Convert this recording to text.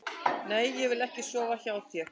Nei, ég vil ekki sofa hjá þér.